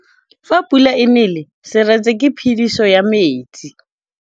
Fa pula e nelê serêtsê ke phêdisô ya metsi.